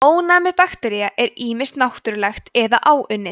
ónæmi baktería er ýmist náttúrlegt eða áunnið